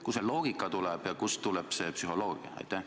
Kust see loogika tuleb ja kust tuleb see psühholoogia?